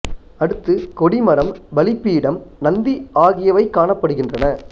அடுத்து கொடி மரம் பலி பீடம் நந்தி ஆகியவை காணப்படுகின்றன